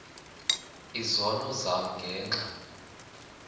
izono zam ngenxa